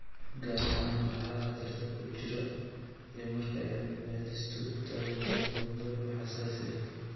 Gaar ahaan kooxaha khatarta ku jira iyo marka cilmi-baadhistu taabato mawduucyo xasaasi ah.